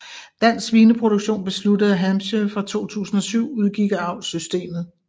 Dansk Svineproduktion besluttede at Hampshire fra 2007 udgik af avlssystemet